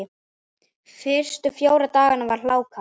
Fyrstu fjóra dagana var hláka.